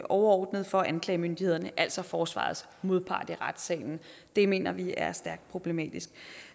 overordnet for anklagemyndighederne altså forsvarets modpart i retssalen det mener vi er stærkt problematisk